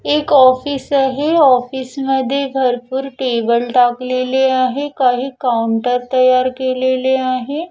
एक ऑफिस आहे ऑफिस मध्ये भरपूर टेबल टाकलेले आहे काही काउंटर तयार केलेले आहे.